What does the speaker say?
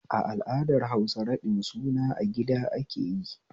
A al'adar Hausa raɗin suna a gida akeyi